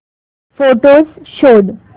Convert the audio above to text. photos शोध